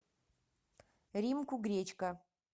римку гречко